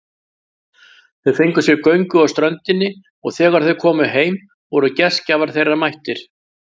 Þau fengu sér göngu á ströndinni og þegar þau komu heim voru gestgjafar þeirra mættir.